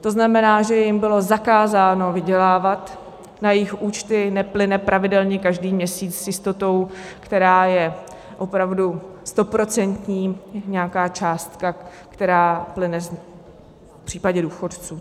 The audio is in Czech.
To znamená, že jim bylo zakázáno vydělávat, na jejich účty neplyne pravidelně každý měsíc s jistotou, která je opravdu stoprocentní, nějaká částka, která plyne v případě důchodců.